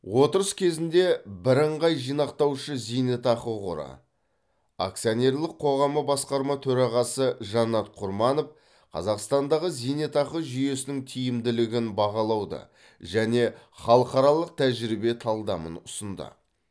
отырыс кезінде бірыңғай жинақтаушы зейнетақы қоры акционерлік қоғамы басқарма төрағасы жанат құрманов қазақстандағы зейнетақы жүйесінің тиімділігін бағалауды және халықаралық тәжірибе талдамын ұсынды